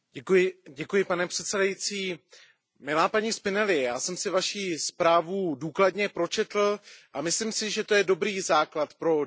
Pane předsedající, milá paní Spinelliová, já jsem si Vaši zprávu důkladně pročetl a myslím si, že to je dobrý základ pro diskuzi.